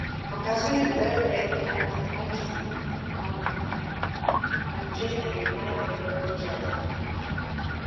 покажи дерби манчестер юнайтед против челси